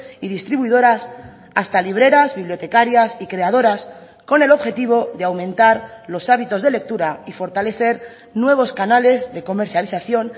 y distribuidoras hasta libreras bibliotecarias y creadoras con el objetivo de aumentar los hábitos de lectura y fortalecer nuevos canales de comercialización